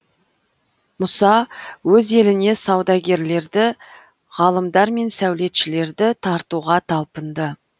мұса өз еліне саудагерлерді ғалымдар мен сәулетшілерді тартуға талпынды